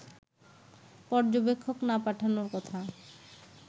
পর্যবেক্ষক না পাঠানোর কথা